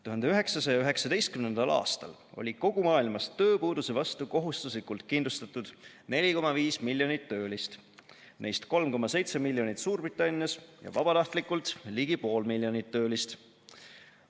1919. aastal oli kogu maailmas tööpuuduse vastu kohustuslikult kindlustatud 4,5 miljonit töölist, neist 3,7 miljonit Suurbritannias, ja vabatahtlikult ligi pool miljonit töölist.